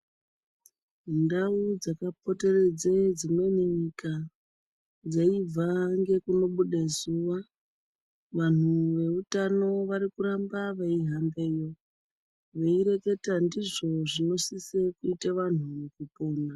Ndau dzakapoteredze dzimweni nyika dzeibva ngekunobude zuwa vantu veutano varikuramba veihambeyo veireketa ndizvo zvinosise kuite vantu mukupona.